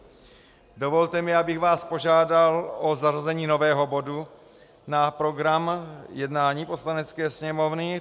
Dovolte mi, abych vás požádal o zařazení nového bodu na program jednání Poslanecké sněmovny.